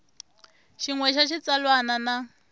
xin we xa xitsalwana na